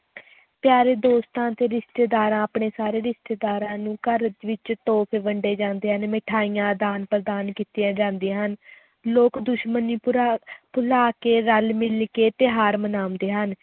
ਪਿਆਰੇ ਦੋਸਤਾਂ ਅਤੇ ਰਿਸ਼ਤੇਦਾਰਾਂ ਆਪਣੇ ਸਾਰੇ ਰਿਸ਼ਤੇਦਾਰਾਂ ਨੂੰ ਘਰ ਵਿੱਚ ਤੋਹਫ਼ੇ ਵੰਡੇ ਜਾਂਦੇ ਹਨ, ਮਿਠਾਈਆਂ ਆਦਾਨ-ਪ੍ਰਦਾਨ ਕੀਤੀਆਂ ਜਾਂਦੀਆਂ ਹਨ ਲੋਕ ਦੁਸ਼ਮਣੀ ਭੁਰਾ ਭੁਲਾ ਕੇ ਰਲ-ਮਿਲ ਕੇ ਤਿਉਹਾਰ ਮਨਾਉਂਦੇ ਹਨ।